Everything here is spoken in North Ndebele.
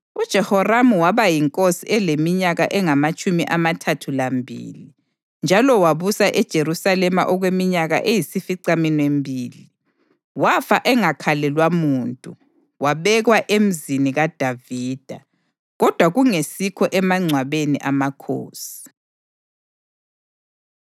UJehoramu waba yinkosi eleminyaka engamatshumi amathathu lambili, njalo wabusa eJerusalema okweminyaka eyisificaminwembili. Wafa engakhalelwa muntu, wabekwa eMzini kaDavida, kodwa kungesikho emangcwabeni amakhosi.